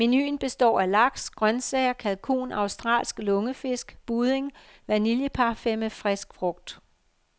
Menuen består af laks, grøntsager, kalkun, australsk lungefisk, budding og vanilleparfait med frisk frugt.